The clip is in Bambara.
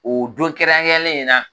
O don kɛrɛnkɛrɛnlen in na